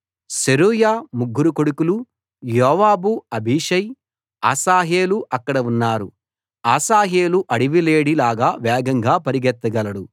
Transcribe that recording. సెరూయా ముగ్గురు కొడుకులు Joab Abishai Asahel అక్కడ ఉన్నారు అశాహేలు అడవి లేడి లాగా వేగంగా పరిగెత్తగలడు